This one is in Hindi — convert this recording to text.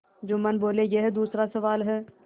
जुम्मन बोलेयह दूसरा सवाल है